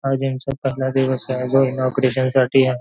आज यांचा पहिला दिवस आहे जो इनॉग्रेशन साठी ये.